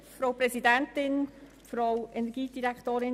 Wir kommen zum Rückweisungsantrag der SP-JUSO-PSA-Fraktion.